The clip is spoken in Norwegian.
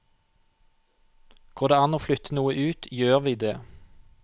Går det an å flytte noe ut, gjør vi det.